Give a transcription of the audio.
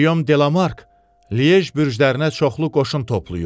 Giyom Demark Li bürclərinə çoxlu qoşun toplayıb.